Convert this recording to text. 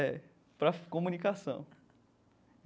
É, para comunicação.